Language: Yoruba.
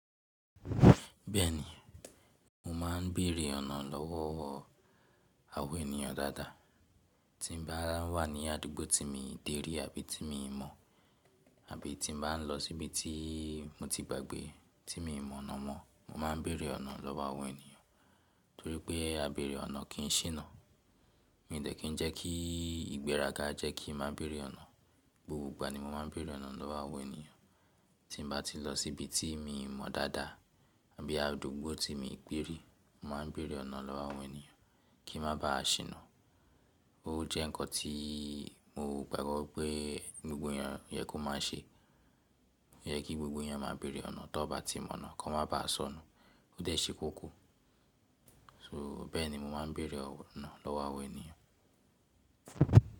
Bẹ́ẹ̀ni, mo ma ń bèrè ọ̀nà lọ́wọ́ o àwọn ènìyàn dáadáa. Tí n bá wà ní àdúgbò tí mi dé rí àbí tí mi mọ̀ àbí tí mo bá ń lọ síbi tí mo ti gbàgbé tí mi mọ̀ ọ̀nà mọ, mo máa ń bèrè ọ̀nà lọ́wọ́ àwọn ènìyàn. Torí pé á bèrè ọ̀nà kì í ṣìnà. Mi ń dẹ́ kí ń jẹ́ kí ìgbéraga jẹ́ kí má bèrè ọ̀nà. Gbogbo ìgbà ni mo máa ń bèrè ọ̀nà lọ́wọ́ àwọn ènìyàn. Tí mbá ti lọ síbi tí mi mọ̀ dáadáa àbí àdúgbò tí mi gbérí, mo ma ń bèrè ọ̀nà lọ́wọ́ àwọn ènìyàn kí n má ba à ṣìnà. Ó jẹ́ nǹkan tí mo gbàgbọ́ pé gbogbo ènìyàn yẹ kó má a ṣe. Ó yẹ kí gbogbo ẹni yàn má bèrè ọ̀nà, tó bá ti mọ̀ ọ̀nà kó má ba à sọ̀nú. Ó dẹ́ ṣe kókó. So bẹ́ẹ̀ni mo má ń bèrè ọ̀nà lọ́wọ́ àwọn ènìyàn.